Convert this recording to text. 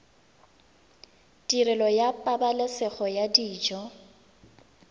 tirelo ya pabalesego ya dijo